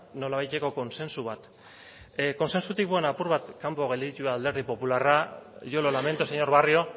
nolabaiteko kontsentsu bat kontsentsutik nolabait kanpo gelditu da alderdi popularra yo lo lamento señor barrio